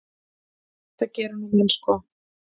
Þetta gera nú menn sko.